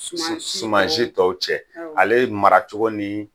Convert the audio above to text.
Suman si, suman si tɔw cɛ, Awɔ, ale ye mara cogo ni